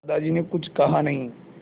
दादाजी ने कुछ कहा नहीं